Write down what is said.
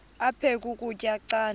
aphek ukutya canda